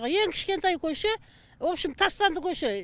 ең кішкентай көше вообщем тастанды көше